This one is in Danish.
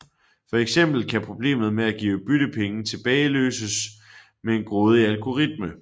For eksempel kan problemet med at give byttepenge tilbage løses med en grådig algoritme